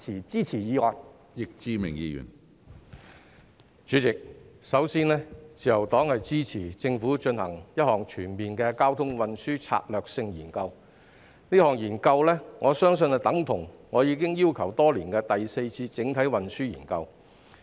主席，首先，自由黨支持政府進行全面的交通運輸策略性研究，我相信這項研究等同我已要求多年的第四次整體運輸研究。